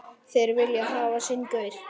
Þeir vilja hafa sinn gaur.